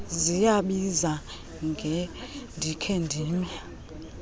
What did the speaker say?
ziyabiza ngendikhe ndime